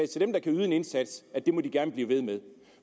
til dem der kan yde en indsats at det må de gerne blive ved med